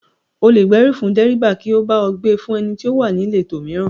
O lè gbèrú fún dẹ́ríbà kí ó bá ọ gbe fún ẹni tí ó wà níletò mìíràn